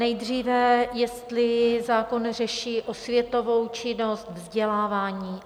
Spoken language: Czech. Nejdříve jestli zákon řeší osvětovou činnost, vzdělávání.